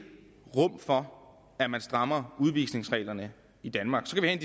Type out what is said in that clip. rum for at man strammer udvisningsreglerne i danmark så kan